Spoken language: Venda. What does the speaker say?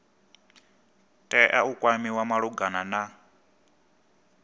tea u kwamiwa malugana na